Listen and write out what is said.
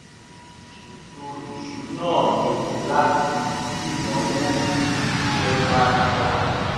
mo ṣètò ìṣúná mi láti dínàwó bí iṣẹ́ bá yá